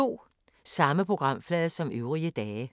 Samme programflade som øvrige dage